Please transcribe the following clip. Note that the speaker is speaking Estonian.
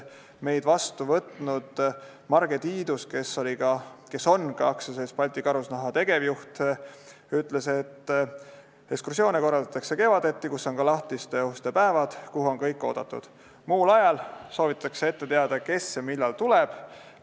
Meid vastu võtnud Marge Tiidus, AS-i Balti Karusnahk tegevjuht, ütles, et ekskursioone korraldatakse kevaditi, kui on ka lahtiste uste päevad, kuhu on kõik oodatud, muul ajal soovitakse ette teada, kes ja millal tuleb.